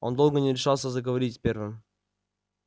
он долго не решался заговорить первым